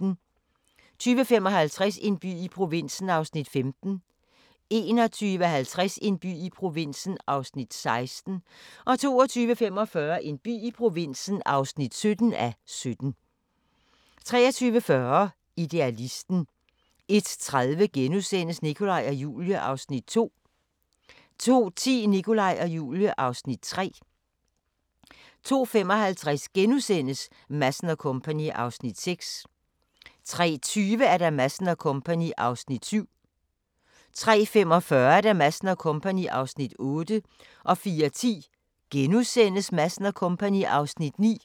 20:55: En by i provinsen (15:17) 21:50: En by i provinsen (16:17) 22:45: En by i provinsen (17:17) 23:40: Idealisten 01:30: Nikolaj og Julie (Afs. 2)* 02:10: Nikolaj og Julie (Afs. 3) 02:55: Madsen & Co. (Afs. 6)* 03:20: Madsen & Co. (Afs. 7) 03:45: Madsen & Co. (Afs. 8) 04:10: Madsen & Co. (Afs. 9)*